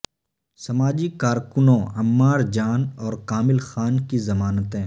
سماجی کارکنوں عمار جان اور کامل خان کی ضمانتیں